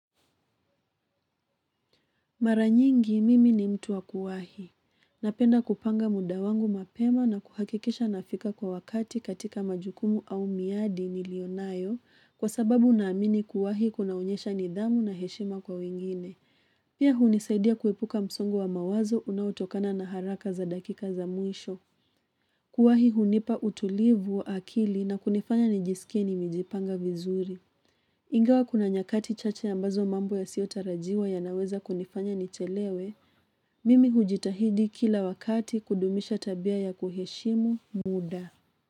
Mara nyingi mimi ni mtu wa kuwahi. Napenda kupanga muda wangu mapema na kuhakikisha nafika kwa wakati katika majukumu au miadi nilio nayo kwa sababu naamini kuwa inaonyesha nidhamu na heshima kwa wengine pia hunisaidia kuepuka msongo wa mawazo unaotokana na haraka za dakika za mwisho. Kuwahi hunipa utulivu wa akili na kunifanya nijisikie nimejipanga vizuri. Ingawa kuna nyakati chache ambazo mambo yasiotarajiwa ya naweza kunifanya nichelewe, mimi hujitahidi kila wakati kudumisha tabia ya kuheshimu muda.